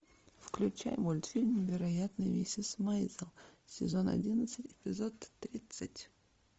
включай мультфильм невероятная миссис мэйзел сезон одиннадцать эпизод тридцать